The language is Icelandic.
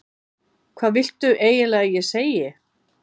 Hvað viltu eiginlega að ég segi?